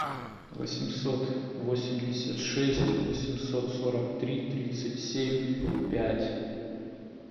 восемьсот восемьдесят шесть восемьсот сорок три тридцать семь пять